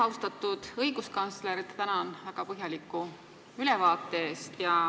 Austatud õiguskantsler, tänan väga põhjaliku ülevaate eest!